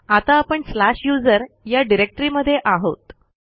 आता आपण slash USR या डिरेक्टरीमध्ये आहोत